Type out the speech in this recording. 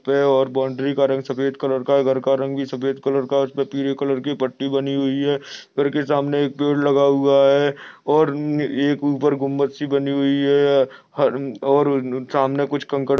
और बाउंड्री का रंग सफ़ेद कलर का है घर का रंग भी सफ़ेद कलर का है उसपे पीले कलर की पट्टी बनी हुई है। घर के सामने एक पेड़ लगा हुआ है और एक ऊपर गुम्बद सी बनी हुई है हर और सामने कुछ कंकड़--